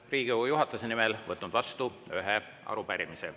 Olen Riigikogu juhatuse nimel võtnud vastu ühe arupärimise.